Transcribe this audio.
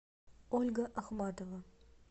ольга ахматова